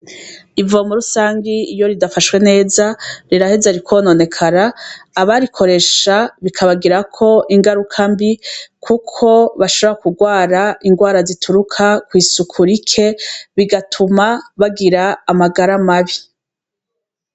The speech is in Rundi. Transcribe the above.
Ivomo rusangi iyo ridafashwe neza riraheza rikononekara, abarikoresha bikabagirako ingaruka mbi. Kuko bashobora kugwara ingwara zituruka kw'isuku rike, bigatuma bagira amagara mabi.